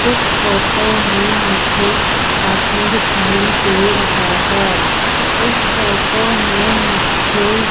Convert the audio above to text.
इस फोटो में मुझे आदमी दिखाई दे रहा है इस फोटो में मुझे --